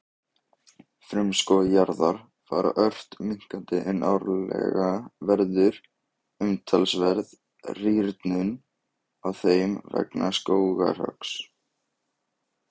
Frumskógar jarðar fara ört minnkandi en árlega verður umtalsverð rýrnun á þeim vegna skógarhöggs.